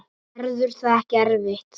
Verður það ekki erfitt?